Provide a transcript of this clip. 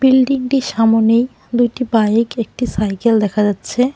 বিল্ডিংটির সামোনে দুইটি বাইক একটি সাইকেল দেখা যাচ্ছে।